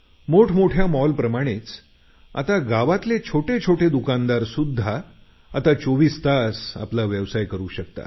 मोठमोठ्या मॉलप्रमाणेच आता गावातील छोटे छोटे दुकानदारसुद्धा 24 तास आपला व्यवसाय करू शकतील